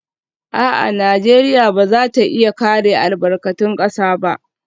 A'a, Najeriya ba za ta iya kare albarkatun kasa ba